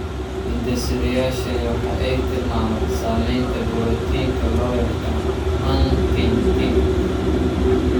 Hidde-sidayaashani waxa ay tilmaamaan samaynta borotiinka loo yaqaan huntingtin.